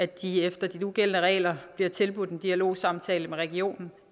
de efter de nugældende regler bliver tilbudt en dialogsamtale med regionen